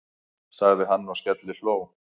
sagði hann og skellihló.